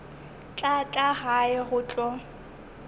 tla tla gae go tlo